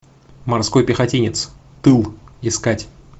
морской пехотинец тыл искать